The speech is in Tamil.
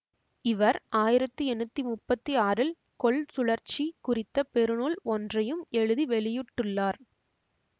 இவர் ஆயிரத்தி எண்ணூத்தி முப்பத்தி ஆறில் கொள்சுழற்சி குறித்த பெருநூல் ஒன்றையும் எழுதி வெளியிட்டுள்ளார்